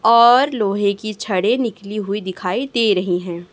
और लोहे की छड़े निकली हुई दिखाई दे रही है।